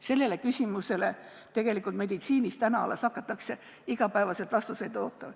Sellele küsimusele tegelikult meditsiinis alles hakatakse igapäevaselt vastuseid ootama.